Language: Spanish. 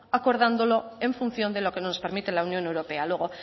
acordándolo en función de lo que nos permite la unión europea luego